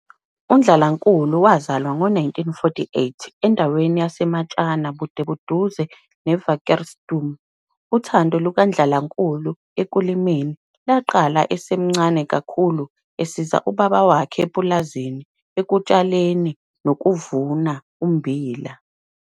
UNdlalankulu wazalwa ngo-1948 endaweni yaseMatshana bude buduze neWakkersteoom. Uthando lukaNdlalankululu ekulimeni lwaqala esemncane kakhulu esiza ubaba wakhe epulazini ukutshaleni nokuvuna ummbila.